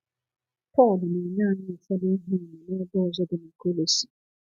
Pọl na-enye anyị ụfọdụ ihe àmà n’ebe ọzọ dị na Kolosi.